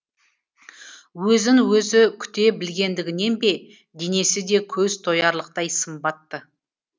өзін өзі күте білгендігінен бе денесі де көз тоярлықтай сымбатты